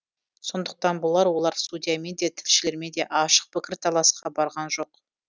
сондықтан болар олар судьямен де тілшілермен де ашық пікірталасқа барған жоқ